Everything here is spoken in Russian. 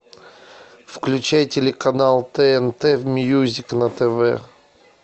включай телеканал тнт мьюзик на тв